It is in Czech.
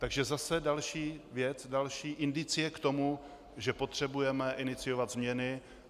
Takže zase další věc, další indicie k tomu, že potřebujeme iniciovat změny.